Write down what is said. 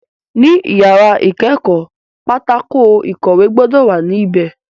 Ní yàrá ìkẹ́kọ̀ọ́, pátákó ìkọ̀wẹ́ gbọ́dọ̀ wà ní bẹ̀